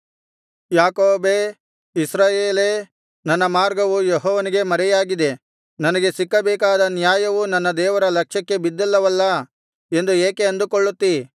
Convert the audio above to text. ಯಾಕೋಬೇ ಇಸ್ರಾಯೇಲೇ ನನ್ನ ಮಾರ್ಗವು ಯೆಹೋವನಿಗೆ ಮರೆಯಾಗಿದೆ ನನಗೆ ಸಿಕ್ಕಬೇಕಾದ ನ್ಯಾಯವು ನನ್ನ ದೇವರ ಲಕ್ಷ್ಯಕ್ಕೆ ಬಿದ್ದಿಲ್ಲವಲ್ಲಾ ಎಂದು ಏಕೆ ಅಂದುಕೊಳ್ಳುತ್ತೀ